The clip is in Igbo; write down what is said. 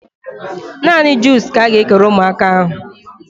Naanị juus ka a ga-ekere ụmụaka ahụ